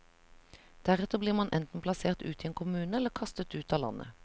Deretter blir man enten plassert ut i en kommune, eller kastet ut av landet.